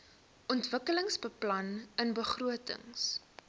ontwikkelingsbeplanningbegrotings